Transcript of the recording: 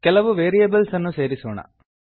ಕೆಲವು ವೇರಿಯೇಬಲ್ಸ್ ಅನ್ನು ಸೇರಿಸೋಣ